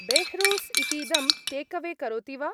बेह्रूस् इतीदं टेकवे करोति वा?